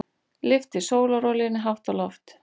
Lyfti sólarolíunni hátt á loft.